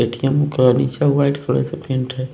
ए_ T_ M_ का नीचे white colour का पेंट है।